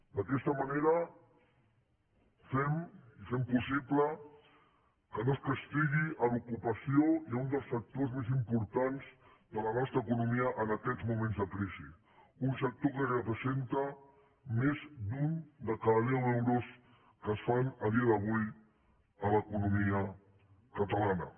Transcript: d’aquesta manera fem i fem possible que no es castigui l’ocupació i un dels sectors més importants de la nostra economia en aquests moments de crisi un sector que representa més d’un de cada deu euros que es fan a dia d’avui a l’economia catalana